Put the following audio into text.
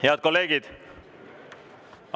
Head kolleegid!